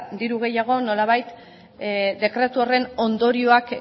diru gehiago nolabait dekretu horren ondorioak